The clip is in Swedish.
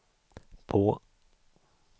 på